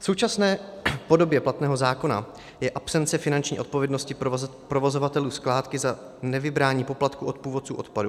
V současné podobě platného zákona je absence finanční odpovědnosti provozovatelů skládky za nevybrání poplatku od původců odpadu.